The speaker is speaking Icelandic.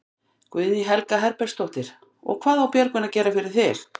Guðný Helga Herbertsdóttir: Og hvað á Björgvin að gera, gera fyrir þig?